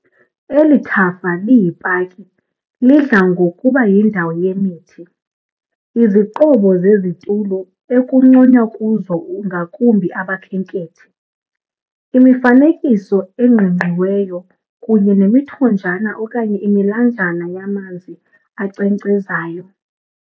Eli thafa liyi-paki lidla ngokuba yindawo yemithi, iziqobo zezitulo ekucwanywa kuzo ngakumbi abakhenkhethi, imifanekiso eqingqiweyo kunye nemithonjana okanye imilanjana yamazi ankcenkcezayo.